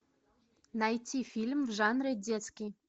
найти фильм в жанре детский